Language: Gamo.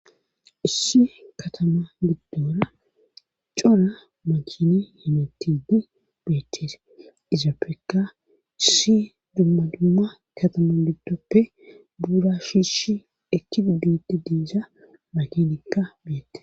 Issi katama giddora cora makini himetidi beettese izappekka issi dumma dumma katama giddoppe buura shiishi ekki godutti diiza makinikka beyette